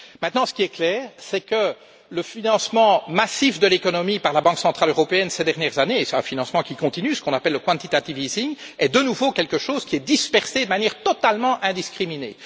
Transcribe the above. Maintenant, ce qui est clair, c'est que le financement massif de l'économie par la Banque centrale européenne ces dernières années et c'est un financement qui continue, ce qu'on appelle le quantitative easing est de nouveau quelque chose qui est dispersé de manière totalement indiscriminée.